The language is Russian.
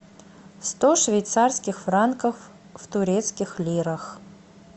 сто швейцарских франков в турецких лирах